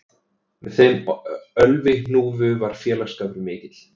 Með þeim Ölvi hnúfu var félagsskapur mikill